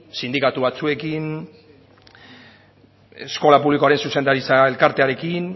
sindikatu batzuekin eskola publikoaren zuzendaritza elkartearekin